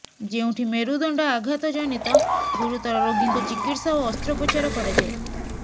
ଯେଉଁଠି ମେରୁଦଣ୍ଡ ଆଘାତ ଜନିତ ଗୁରୁତର ରୋଗୀଙ୍କ ଚିକିତ୍ସା ଓ ଅସ୍ତ୍ରୋପଚାର କରାଯାଏ